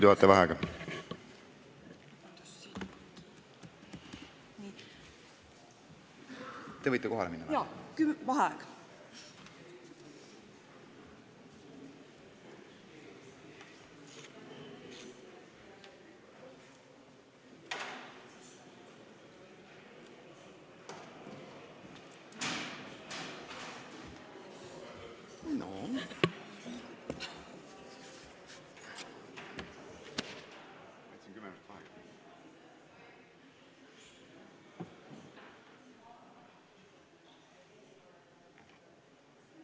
Aa, hakkas tööle?